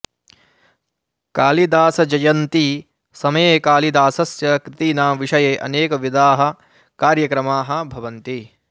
कालिदासजयन्ती समये कालिदासस्य कृतीनां विषये अनेकविधाः कार्यक्रमाः भवन्ति